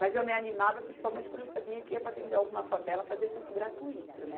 Mas eu me animava, principalmente quando eu sabia que ia para dentro de alguma favela fazer curso gratuito, né?